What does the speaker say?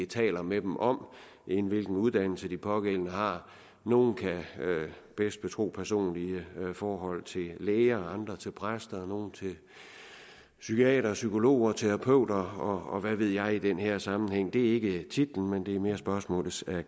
taler med dem om end hvilken uddannelse de pågældende har nogle kan bedst betro personlige forhold til læger andre til præster nogle til psykiatere psykologer og terapeuter og hvad ved jeg i den her sammenhæng det er ikke titlen men det er mere spørgsmålets